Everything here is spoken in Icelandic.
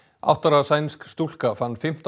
átta ára sænsk stúlka fann fimmtán